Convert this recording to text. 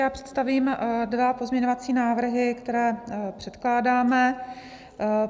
Já představím dva pozměňovací návrhy, které předkládáme.